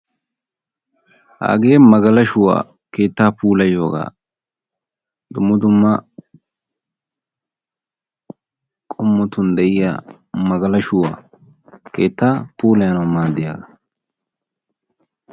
Hagee magalashshuwa keetta puulayiyooga dumma dumma meran de'iya keetta puulayannawu maaddiya magalashshuwa.